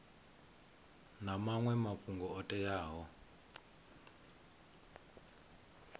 na maṅwe mafhungo o teaho